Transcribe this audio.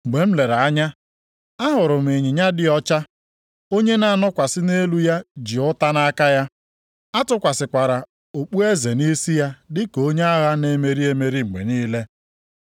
Mgbe m lere anya, ahụrụ m ịnyịnya dị ọcha. Onye na-anọkwasị nʼelu ya ji ụta nʼaka ya. A tụkwasịkwara okpueze nʼisi ya dịka onye agha na-emeri emeri mgbe niile.